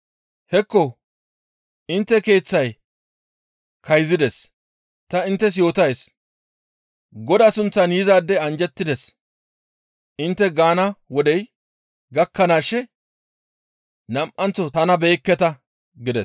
Hekko intte keeththay kayzides; ta inttes yootays, ‹Godaa sunththan yizaadey anjjettides› intte gaana wodey gakkanaashe nam7anththo tana beyekketa» gides.